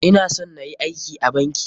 Ina son nayi aiki a banki.